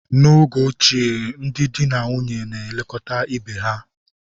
N'oge ochie, ndị di na nwunye na-elekọta ibe ha.